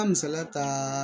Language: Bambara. Ka misaliya ta